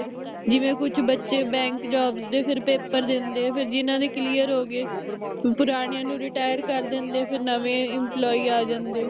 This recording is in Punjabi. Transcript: ਜਿਵੇ ਕੁਝ ਬੱਚੇ bank jobs ਦੇ ਫਿਰ paper ਦਿੰਦੇ ਫਿਰ ਜਿਨ੍ਹਾਂ ਦੇ clear ਹੋਗੇ ਪੁਰਾਣਿਆਂ ਨੂੰ retire ਕਰ ਦਿੰਦੇ ਫਿਰ ਨਵੇਂ employee ਆ ਜਾਂਦੇ